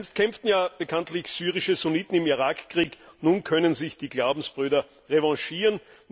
Einst kämpften ja bekanntlich syrische Sunniten im Irak Krieg, nun können sich die Glaubensbrüder revanchieren.